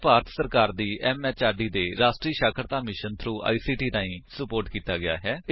ਇਹ ਭਾਰਤ ਸਰਕਾਰ ਦੀ ਐਮਐਚਆਰਡੀ ਦੇ ਰਾਸ਼ਟਰੀ ਸਾਖਰਤਾ ਮਿਸ਼ਨ ਥ੍ਰੋ ਆਈਸੀਟੀ ਰਾਹੀਂ ਸੁਪੋਰਟ ਕੀਤਾ ਗਿਆ ਹੈ